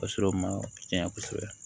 A sɔrɔ ma tiɲɛ kosɛbɛ